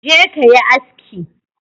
Je ka yi aski!